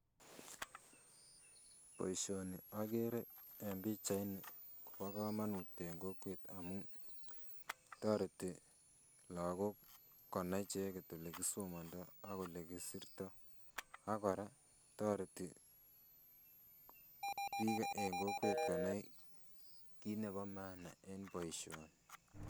Boishoni okeree en pichaini kobo komonut en kokwet amuun toreti lokok konai icheket elekisomondo ak elekisirto, ak kora toreti biik en kokwet konai kiit nebo maana en boishoni.